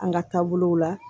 An ka taabolow la